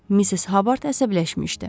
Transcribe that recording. Missis Habard əsəbləşmişdi.